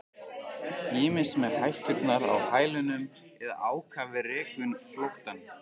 Ýmist með hætturnar á hælunum eða ákafir rekum flóttann.